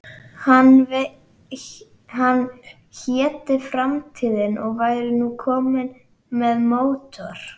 Hann héti Framtíðin og væri nú kominn með mótor.